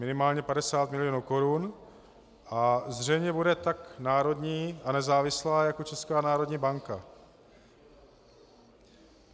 Minimálně 50 milionů korun a zřejmě bude tak národní a nezávislá jako Česká národní banka.